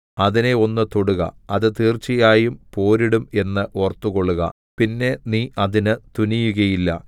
അതിനെ ഒന്ന് തൊടുക അത് തീർച്ചയായും പോരിടും എന്ന് ഓർത്തുകൊൾക പിന്നെ നീ അതിന് തുനിയുകയില്ല